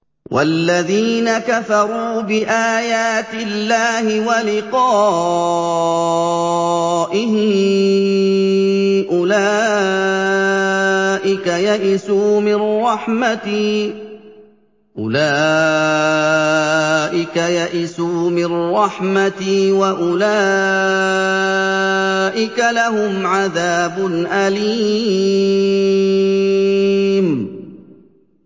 وَالَّذِينَ كَفَرُوا بِآيَاتِ اللَّهِ وَلِقَائِهِ أُولَٰئِكَ يَئِسُوا مِن رَّحْمَتِي وَأُولَٰئِكَ لَهُمْ عَذَابٌ أَلِيمٌ